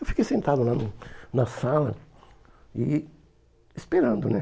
Eu fiquei sentado lá na sala e esperando, né?